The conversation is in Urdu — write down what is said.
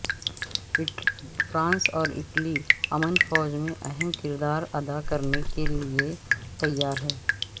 فرانس اور اٹلی امن فوج میں اہم کردار ادا کرنے کے لیئے تیار ہیں